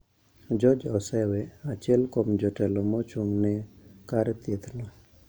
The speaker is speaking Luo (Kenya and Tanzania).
George Osewe, achiel kuom jotelo mochung`ne kar thieth no,